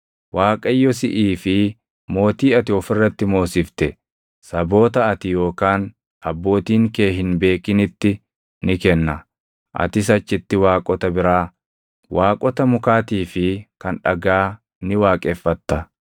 Waaqayyo siʼii fi mootii ati of irratti moosifte saboota ati yookaan abbootiin kee hin beekinitti ni kenna. Atis achitti waaqota biraa, waaqota mukaatii fi kan dhagaa ni waaqeffatta.